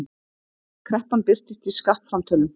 Kreppan birtist í skattframtölum